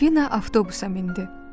Silvina avtobusa mindi.